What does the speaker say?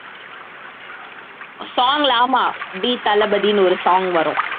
song ல ஆமா தீ தளபதின்னு ஒரு song வரும்